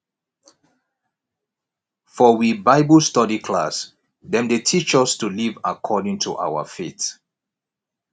for we bible study class dem dey teach us to live according to our faith